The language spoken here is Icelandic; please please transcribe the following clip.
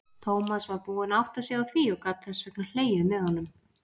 Tómas var búinn að átta sig á því og gat þess vegna hlegið með honum.